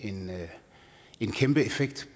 kæmpeeffekt